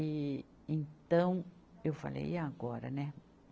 E, então, eu falei, e agora, né?